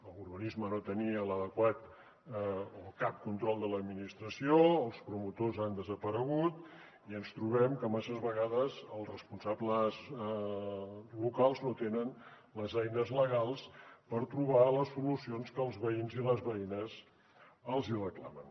l’urbanisme no tenia l’adequat o cap control de l’administració els promotors han desaparegut i ens trobem que masses vegades els responsables locals no tenen les eines legals per trobar les solucions que els veïns i les veïnes els hi reclamen